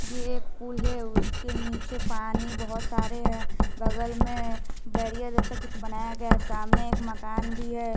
ये एक पुल है उसके नीचे पानी बहोत सारे हैं बगल में बैरियर जैसा कुछ बनाया गया है सामने एक मकान भी है।